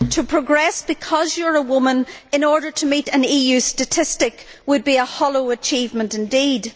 To progress because you are a woman in order to meet an EU statistic would be a hollow achievement indeed.